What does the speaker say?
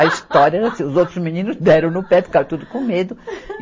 A história era assim, os outros meninos deram no pé, ficaram tudo com medo.